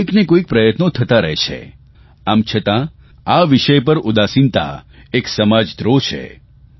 કોઇકને કોઇક પ્રયત્નો થતાં રહે છે આમ છતાં આ વિષય પર ઉદાસીનતા એક સમાજદ્રોહ છે